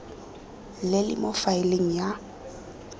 le le mo faeleng ya